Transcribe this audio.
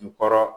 N kɔrɔ